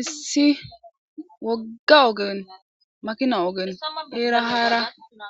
issi wogga ogen makina ogen eera haara